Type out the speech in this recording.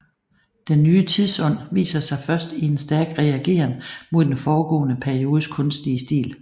Den ny tidsånd viser sig først i en stærk reageren mod den foregående periodes kunstige stil